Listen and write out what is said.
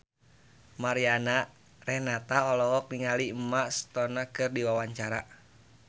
Mariana Renata olohok ningali Emma Stone keur diwawancara